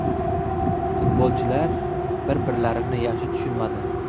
Futbolchilar bir-birlarini yaxshi tushunmadi.